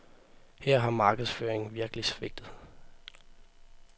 Her har markedsføringen virkelig svigtet.